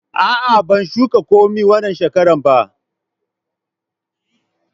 A'a, ban shuka komi wanna shekaran ba.